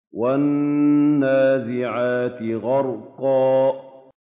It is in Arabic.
وَالنَّازِعَاتِ غَرْقًا